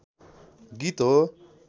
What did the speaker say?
गीत हो।